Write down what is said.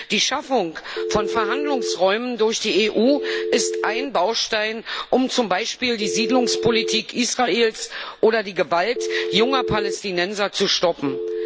Die Schaffung von Verhandlungsräumen durch die EU ist ein Baustein, um zum Beispiel die Siedlungspolitik Israels oder die Gewalt junger Palästinenser zu stoppen.